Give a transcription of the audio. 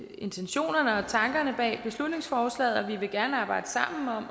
intentionerne og tankerne bag beslutningsforslaget vi vil gerne arbejde sammen om